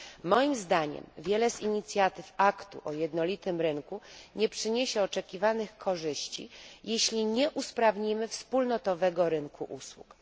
Moim zdaniem wiele z inicjatyw Aktu o jednolitym rynku nie przyniesie oczekiwanych korzyści, jeśli nie usprawnimy wspólnotowego rynku usług.